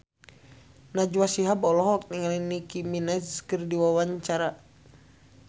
Najwa Shihab olohok ningali Nicky Minaj keur diwawancara